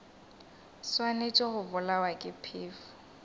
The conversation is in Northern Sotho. swanetše go bolawa ke phefo